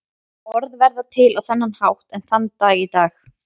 Orð verða til á þennan hátt enn þann dag í dag.